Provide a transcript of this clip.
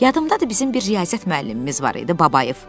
Yadımdadır bizim bir riyaziyyat müəllimimiz var idi Babayev.